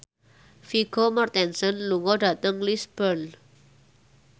Vigo Mortensen lunga dhateng Lisburn